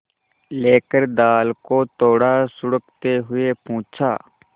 लेकर दाल को थोड़ा सुड़कते हुए पूछा